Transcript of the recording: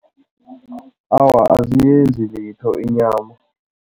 Awa, aziyenzi litho inyama.